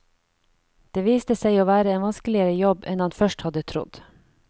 Det viste seg å være en vanskeligere jobb enn han først hadde trodd.